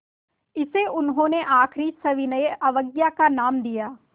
इसे उन्होंने आख़िरी सविनय अवज्ञा का नाम दिया